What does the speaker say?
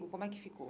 Ou como é que ficou?